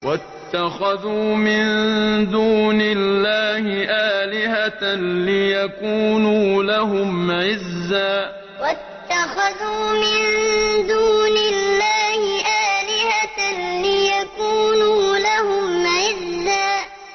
وَاتَّخَذُوا مِن دُونِ اللَّهِ آلِهَةً لِّيَكُونُوا لَهُمْ عِزًّا وَاتَّخَذُوا مِن دُونِ اللَّهِ آلِهَةً لِّيَكُونُوا لَهُمْ عِزًّا